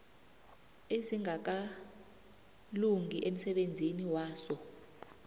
ezingakalungi emsebenzini waso